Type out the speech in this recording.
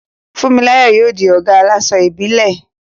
Funmilayo yóò di ọ̀gá àláṣọ ìbílẹ̀.